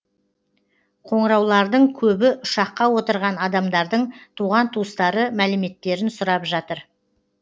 қоңыраулардың көбі ұшаққа отырған адамдардың туған туыстары мәліметтерін сұрап жатыр